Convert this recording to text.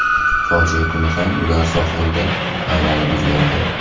Fojia kuni ham ular sohilda aylanib yurgandi.